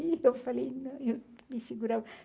E eu falei, não, eu me segurava.